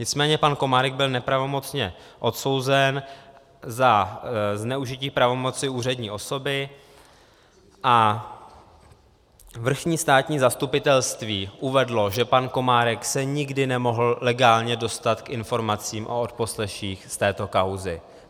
Nicméně pan Komárek byl nepravomocně odsouzen za zneužití pravomoci úřední osoby a vrchní státní zastupitelství uvedlo, že pan Komárek se nikdy nemohl legálně dostat k informacím o odposleších z této kauzy.